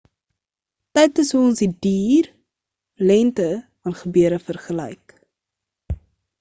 tyd is hoe ons die duur lengte van gebeure vergelyk